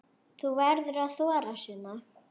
Þú verður að þora, Sunna.